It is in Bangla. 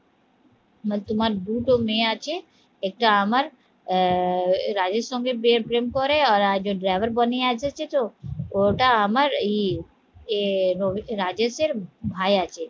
তোমার দুটো মেয়ে আছে একটা আমার আহ রাজের সঙ্গে প্রেম করে আর একজন driver বনি এসেছে তো ওটা আমারই এ রাজেশের ভাই আছে